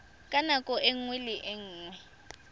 ka nako nngwe le nngwe